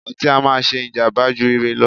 ọtí á máà ń ṣé ìjàmbá jù ire lọ.